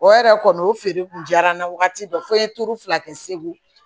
O yɛrɛ kɔni o feere kun diyara n ye wagati dɔ fo n ye turu fila kɛ segu